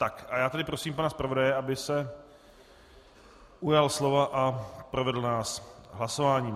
Tak, a já tedy prosím pana zpravodaje, aby se ujal slova a provedl nás hlasováním.